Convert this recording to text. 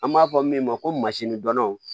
An b'a fɔ min ma ko masini dɔnnaw